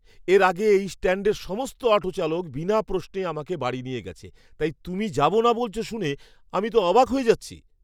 এর আগে এই স্ট্যাণ্ডের সমস্ত অটো চালক বিনা প্রশ্নে আমাকে বাড়ি নিয়ে গেছে, তাই তুমি যাব না বলছ শুনে আমি তো অবাক হয়ে যাচ্ছি!